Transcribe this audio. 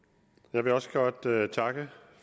jeg vil også godt takke takke